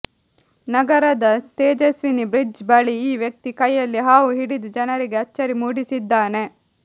ನಗರದ ತೇಜಸ್ವಿನಿ ಬ್ರಿಡ್ಜ್ ಬಳಿ ಈ ವ್ಯಕ್ತಿ ಕೈಯಲ್ಲಿ ಹಾವು ಹಿಡಿದು ಜನರಿಗೆ ಅಚ್ಚರಿ ಮೂಡಿಸಿದ್ದಾನೆ